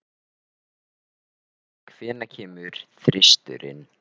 Elínora, hvenær kemur þristurinn?